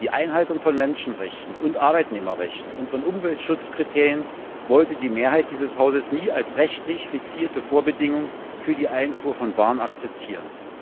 Die Einhaltung von Menschenrechten und Arbeitnehmerrechten und von Umweltschutzkriterien wollte die Mehrheit dieses Hauses nie als rechtlich fixierte Vorbedingung für die Einfuhr von Waren akzeptieren.